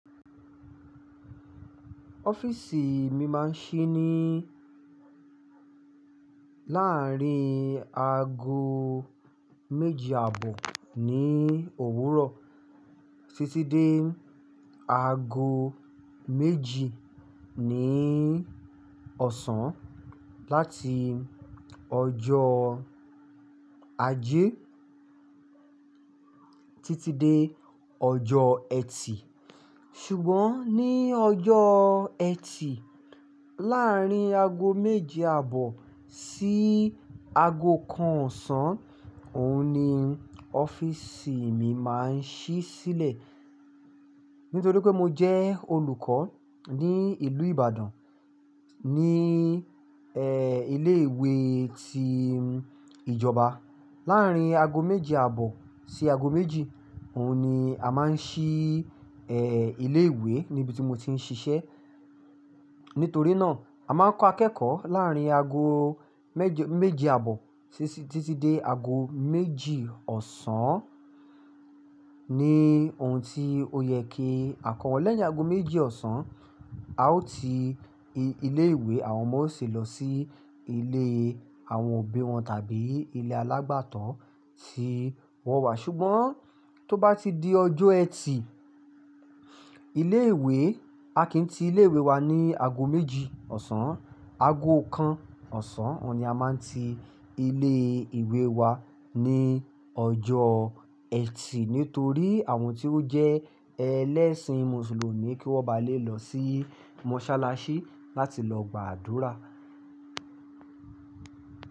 Ọ́fíìsì mi máa ń ṣí ní láàárín aago méje àbọ̀ ní òwúrọ̀ títí dé aago méjì ní ọ̀sán, láti ọjọ́ Ajé títí dé ọjọ́ ẹtì. Ṣùgbọ́n ní ọjọ́ ẹtì, láàárín aago méje àbọ̀ sí aago kan ọ̀sán, òun ni ọ́fíìsì mi máa ń ṣí sílẹ̀. Nítorí pé mo jẹ́ olùkọ́ ní ìlú Ìbàdàn ní, e, ilé ìwé tí ìjọba. Láàárín aago méje àbọ̀ sí aago méjì, òun ni a máa ń ṣí, e, ilé ìwé níbi tí mo ti ń ṣiṣẹ́. Nítorí náà, a máa ń kọ́ akẹ́kọ̀ọ́ láàárín aago méje, méje àbọ̀ títí dé aago méjì ọ̀sán ni òun ti ó yẹ kí àkọ́wọ́ lẹ́yìn aago méjì ọ̀sán, a ó ti ilé ìwé, àwọn ọmọ ó sì lọ sí ilé àwọn òbí wọn tàbí ilé alágbàtọ́ tí wọ́n wà. Ṣùgbọ́n tó bá ti di ọjọ́ ẹtì, ilé ìwé-- a kì í ti ilé ìwé wa ní aago méjì ọ̀sán, aago kan ọ̀sán, òun ni a máa ń ti ilé ìwé wa ní ọjọ́ ẹtì. Nítorí àwọn tí ó jẹ́ ẹlẹ́sìn mùsùlùmí kí wọ́n ba lè lọ sí mọ́sálásí láti lọ gba àdúrà.